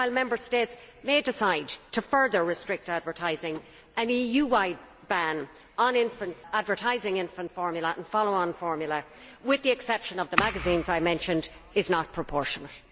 While Member States may decide to further restrict advertising, an EU wide ban on advertising infant formula and follow on formula, with the exception of the magazines I mentioned, is not proportionate.